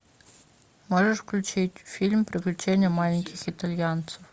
можешь включить фильм приключения маленьких итальянцев